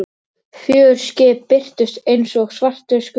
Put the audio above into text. Fjögur skip birtust einsog svartir skuggar.